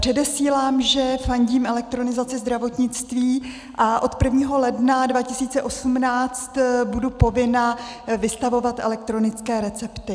Předesílám, že fandím elektronizaci zdravotnictví a od 1. ledna 2018 budu povinna vystavovat elektronické recepty.